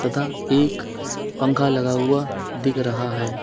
तथा एक पंखा लगा हुआ दिख रहा है।